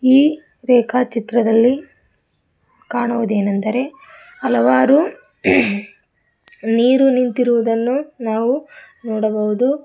ಈ ರೇಖಾ ಚಿತ್ರದಲ್ಲಿ ಕಾಣುವುದೇನೆಂದರೆ ಹಲವಾರು ನೀರು ನಿಂತಿರುವುದನ್ನು ನಾವು ನೋಡಬಹುದು.